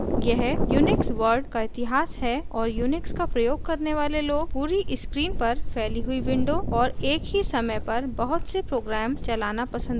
यह unix world का इतिहास है और unix का प्रयोग करने वाले love पूरी screen पर फैली हुई windows और एक ही समय पर बहुत से programs चलाना पसंद करते हैं